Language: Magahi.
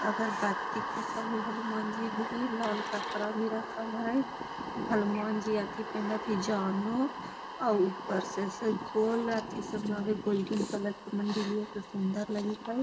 अगरबत्ती खोसल हई हनुमान जी भीर लाल कपडा भी रखल हई हनुमान जी आथि पेन्हले हथि आ ऊपर से से गोल आथि से गोल्डन कलर के मंदिरिओ सुन्दर लगित हई |